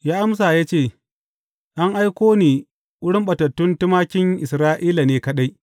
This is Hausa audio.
Ya amsa ya ce, An aiko ni wurin ɓatattun tumakin Isra’ila ne kaɗai.